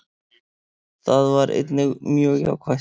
Það var einnig mjög jákvætt